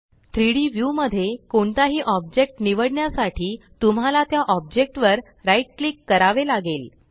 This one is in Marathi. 3Dव्यू मध्ये कोणताही ऑब्जेक्ट निवडण्यासाठी तुम्हाला त्या ऑब्जेक्ट वर राइट क्लिक करावे लागेल